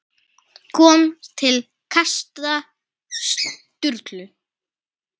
kom til kasta Sturlu.